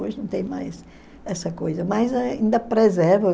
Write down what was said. Hoje não tem mais essa coisa, mas ainda preserva.